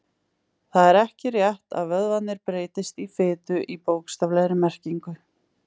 Það er ekki rétt að vöðvarnir breytist í fitu í bókstaflegri merkingu.